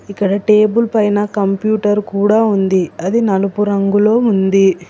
ఇక్కడ టేబుల్ పైన కంప్యూటర్ కూడా ఉంది అది నలుపు రంగులో ఉంది.